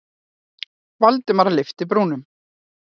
Valdimar lyfti brúnum.